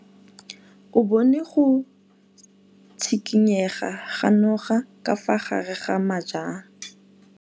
O bone go tshikinya ga noga ka fa gare ga majang.